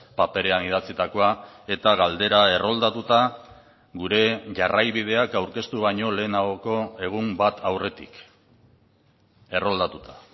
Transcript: paperean idatzitakoa eta galdera erroldatuta gure jarraibideak aurkeztu baino lehenagoko egun bat aurretik erroldatuta